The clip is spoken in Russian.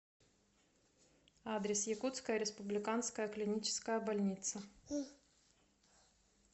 адрес якутская республиканская клиническая больница